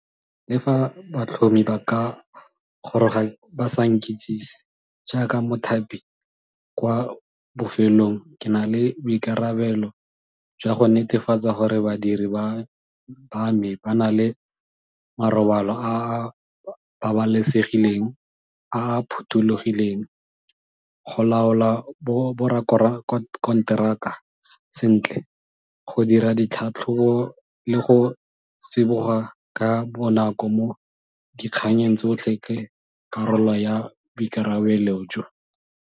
Le fa batlhomi ba ka goroga ba sa nkitsise, jaaka mothapi, kwa bofelong ke na le boikarabelo jwa go netefatsa gore badiri ba me ba na le marobalo a a babalesegileng, a a phothulogileng go laola bo sentle go dira ditlhatlhobo le go tsiboga ka bonako mo dikganyeng tsotlhe ke karolo ya boikarabelo jo.